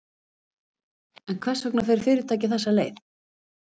En hvers vegna fer fyrirtækið þessa leið?